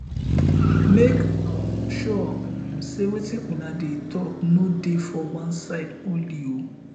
mek um sure um sey wetin una dey tok no dey for one side only o